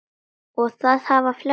Og það hafa flestir gert.